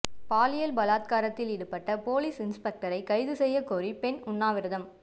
பாலியல் பலாத்காரத்தில் ஈடுபட்ட போலீஸ் இன்ஸ்பெக்டரை கைது செய்யக்கோரி பெண் உண்ணாவிரதம்